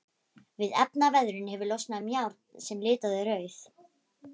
Við efnaveðrun hefur losnað um járn sem litar þau rauð.